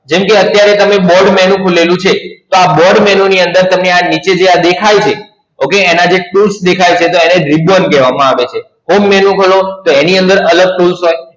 જેમ કે અત્યારે તમે Board Menu ખુલેલું છે, તો આ Board Menu ની અંદર તમને આ નીચે જે આ દેખાય છે, Okay એના જે tools દેખાય છે, તો એને Ribbon કહેવામાં આવે છે. Home menu ખોલો તો એની અંદર અલગ tools હોય.